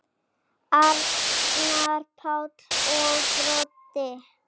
Arnar Páll og Broddi.